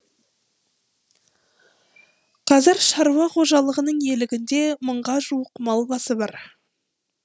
қазір шаруа қожалығының иелігінде мыңға жуық мал басы бар